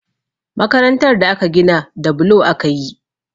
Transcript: Makarantar da aka gina da bulo aka yi